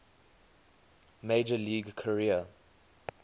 major league career